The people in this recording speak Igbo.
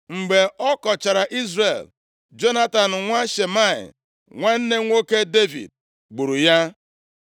Mgbe ọ kọchara Izrel, Jonatan nwa Shimei, nwanne nwoke Devid, gburu ya.